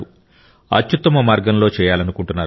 అత్యుత్తమ మార్గంలో చేయాలనుకుంటున్నారు